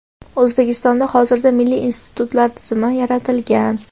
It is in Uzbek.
O‘zbekistonda hozirda milliy institutlar tizimi yaratilgan.